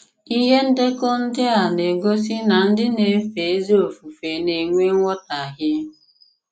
Ìhé ndekọ̀ ndị a na-egosí na ndị na-èfé ezi ofufe na-enwè nghọtàhìe.